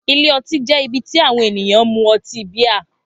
Ilé ọtí jẹ́ ibi tí àwọn ènìyàn mú ọtí bíà.